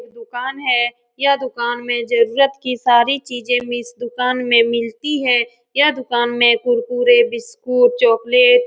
यह दुकान है यह दुकान में जरुरत की सारी चीजें मिस इस दुकान में मिलती है यह दुकान में कुरकुरे बिस्कुट चॉक्लेट --